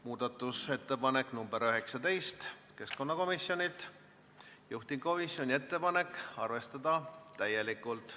Muudatusettepanek nr 19 on keskkonnakomisjonilt, juhtivkomisjoni ettepanek on arvestada täielikult.